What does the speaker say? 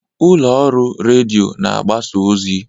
Ụlọ ọrụ redio na-agbasa ozi.